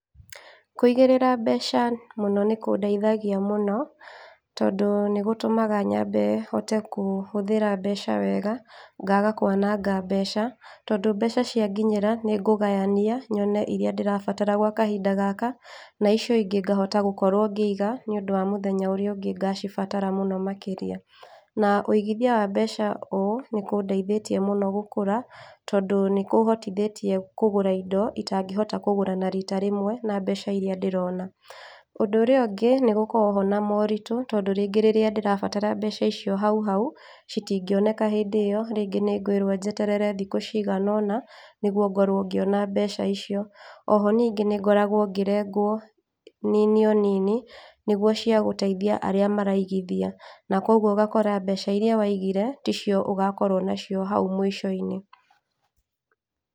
Kũigĩrĩra mbeca mũno nĩ kũndeithagia mũno, tondũ nĩgũtũmaga nyĩmbe hote gũtũmĩrĩ mbeca wega, ngaga kwananga mbeca. Tondũ mbeca cia nginyĩra, nĩ ngũgayania, nyone iria ndĩrabatara gwa kahinda gaka, na icio ingĩ nĩ ngũhota gũkorwo ngĩiga, nĩũndũ wa mũthenya ũrĩa ũngĩ ngacibatara mũno makĩria. Na ũigithia wa mbeca ũũ, nĩkũndeithĩtie mũno gũkũra tondũ nĩ kũhotithĩtie kũgũra indo itangĩhota kũgũra na rita rĩmwe na mbeca ria ndĩrona. Ũndũ ũrĩa ũngĩ, nĩgũkoragwo ho na moritũ, tondũ rĩngĩ rĩrĩa ndĩrabatara mbecaicio hau hau, citingĩoneka hĩndĩ ĩyo, rĩngĩ nĩngwĩrwo njeterere thikũ ciganaona, nĩguo ngorwo ngũona mbeca icio. Oho nyingĩ nĩngoragwo ngĩrengwo o nini nini, nĩguo cia gũteithia arĩa maraigithia. Na koguoũgakora mbeca iria waigire, ticio ũgakorwo nacio hau mũico-inĩ.